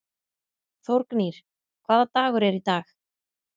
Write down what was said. Þórgnýr, hvaða dagur er í dag?